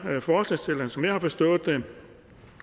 forslagsstillerne som jeg har forstået dem